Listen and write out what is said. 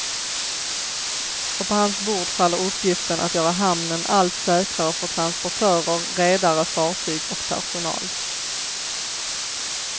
Och på hans bord faller uppgiften att göra hamnen allt säkrare för transportörer, redare, fartyg och personal.